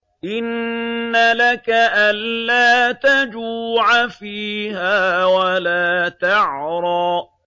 إِنَّ لَكَ أَلَّا تَجُوعَ فِيهَا وَلَا تَعْرَىٰ